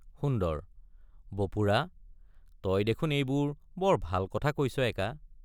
সুন্দৰ—বপুৰা তই দেখোন এইবোৰ বৰ ভাল কথা কৈছ একা।